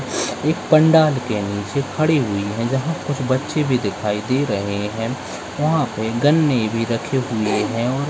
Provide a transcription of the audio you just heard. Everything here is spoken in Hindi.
एक पंडाल के नीचे खड़ी हुई है जहां कुछ बच्चे भी दिखाई दे रहे हैं वहाँं पर गन्ने भी रखे हुए हैं और --